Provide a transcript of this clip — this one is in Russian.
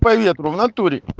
по ветру в натуре